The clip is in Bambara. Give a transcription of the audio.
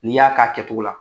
N' i y'a k'a kɛcogo la